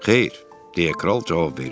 Xeyr, deyə kral cavab verdi.